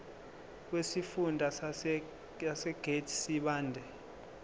wesifunda sasegert sibande